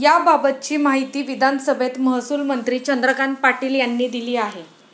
याबाबतची माहिती विधानसभेत महसूलमंत्री चंद्रकांत पाटील यांनी दिली आहे.